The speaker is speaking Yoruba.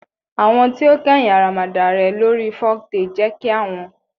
Awọn ti o kẹhin aramada l re lori foktale je ki awon